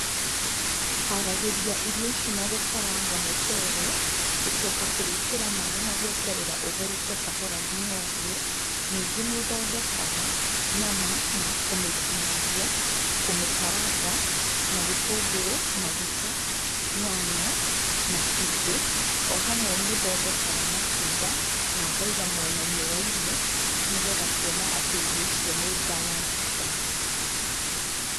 Haragĩria irio ici nagũkaranga mũcere, gũcoka kũwĩkĩra maĩ na gweterera ũtherũke kahora nginya ũhĩe, ningĩ nĩthondekaga nyama na kũmĩtinangia, kũmĩkaranga, na gĩtũngũrũ, maguta, nyanya, na cumbĩ, o hamwe nĩ thondekaga matunda, na ngaiga mwenainĩ wa irio, nĩgetha kuona atĩ irio icio nĩ balanced diet.